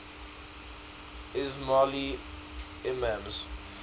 ismaili imams